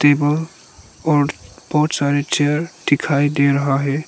Table और बहोत सारे चेयर दिखाई दे रहा है।